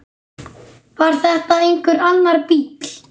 Var þetta einhver annar bíll?